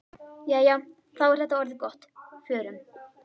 Jæja, þá er þetta orðið gott. Förum.